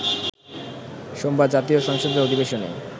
সোমবার জাতীয় সংসদের অধিবেশনে